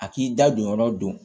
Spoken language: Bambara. A k'i da don yɔrɔ don